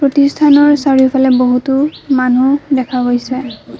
প্ৰতিষ্ঠানৰ চাৰিওফালে বহুতো মানুহ দেখা গৈছে।